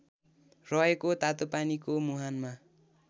रहेको तातोपानीको मुहानमा